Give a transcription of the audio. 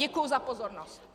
Děkuju za pozornost.